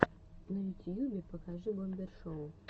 на ютьюбе покажи бомбер шоу